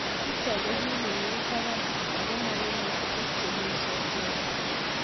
Nitok ko kii ni mii taban ako mangeme tukuk chemii sokoni.